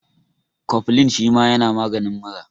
Kofilin shima yana maganin mura